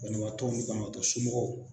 Banabaatɔw ni banabaatɔ somɔgɔw